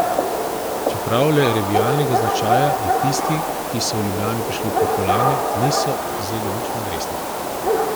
Čeprav le revialnega značaja, je tisti, ki so v Ljubljano prišli po kolajne, niso vzeli nič manj resno.